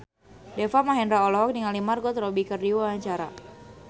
Deva Mahendra olohok ningali Margot Robbie keur diwawancara